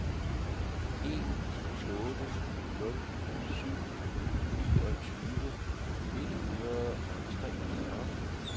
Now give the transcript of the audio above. en otte nul syv niogtyve et hundrede og toogfyrre